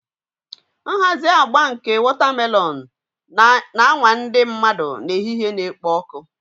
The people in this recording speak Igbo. Nhazi agba nke wotamelons na-anwa ndị mmadụ n'ehihie na-ekpo ọkụ